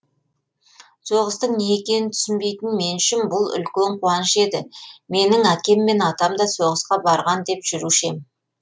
соғыстың не екенін түсінбейтін мен үшін бұл үлкен қуаныш еді менің әкем мен атамда соғысқа барған деп жүруші ем